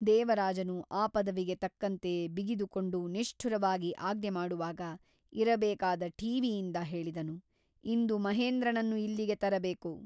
ದೇವರಾಜನು ಆ ಪದವಿಗೆ ತಕ್ಕಂತೆ ಬಿಗಿದುಕೊಂಡು ನಿಷ್ಠುರವಾಗಿ ಆಜ್ಞೆ ಮಾಡುವಾಗ ಇರಬೇಕಾದ ಠೀವಿಯಿಂದ ಹೇಳಿದನು ಇಂದು ಮಹೇಂದ್ರನನ್ನು ಇಲ್ಲಿಗೆ ತರಬೇಕು.